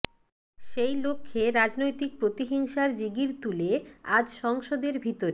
সেই লক্ষ্যে রাজনৈতিক প্রতিহিংসার জিগির তুলে আজ সংসদের ভিতরে